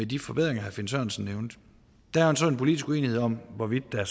de forbedringer herre finn sørensen nævnte der er så en politisk uenighed om hvorvidt der